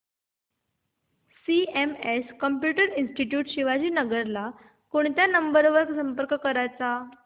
CMS computer institute Shivajinagar ला कोणत्या number वर संपर्क करायचा